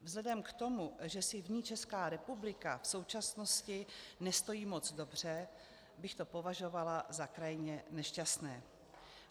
Vzhledem k tomu, že si v ní Česká republika v současnosti nestojí moc dobře, bych to považovala za krajně nešťastné.